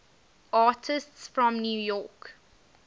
artists from new york